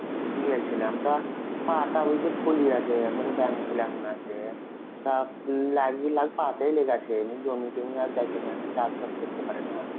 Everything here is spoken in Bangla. গিয়েছিলাম. তা পা টা বুঝলে ফুলি আছে. একবারে ব্যাঙ ফুল এখন আছে. তা লাগবে লাল পা টায় লেগেছে, জমি টমি আর যাইতে পারে না, চাষবাস করতে পারে না.